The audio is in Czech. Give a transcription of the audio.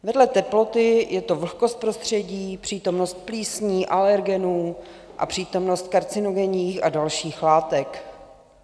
Vedle teploty je to vlhkost prostředí, přítomnost plísní, alergenů a přítomnost karcinogenních a dalších látek.